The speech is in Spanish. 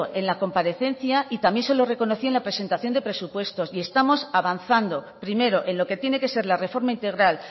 en la comparecencia y también se lo reconocí en la presentación de presupuestos y estamos avanzando primero en lo que tiene que ser la reforma integral